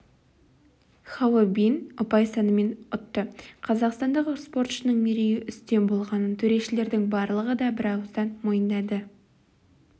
хао бин ұпай санымен ұтты қазақстандық спортшының мерейі үстем болғанын төрешілердің барлығы да бірауыздан мойындады